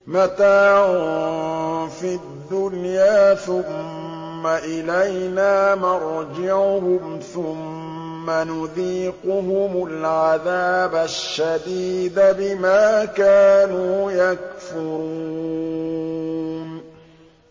مَتَاعٌ فِي الدُّنْيَا ثُمَّ إِلَيْنَا مَرْجِعُهُمْ ثُمَّ نُذِيقُهُمُ الْعَذَابَ الشَّدِيدَ بِمَا كَانُوا يَكْفُرُونَ